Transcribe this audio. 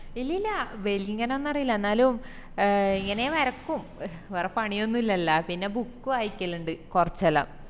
ഇല്ലില്ല വെല്ങ്ങനൊന്നും അറീല്ല എന്നാലും ഇങ്ങനെ വരക്കും വേറെ പണിയൊന്നുല്ലല്ല പിന്ന book വായിക്കലിൻഡ് കോർചെല്ലോം